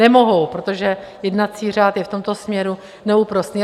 Nemohou, protože jednací řád je v tomto směru neúprosný.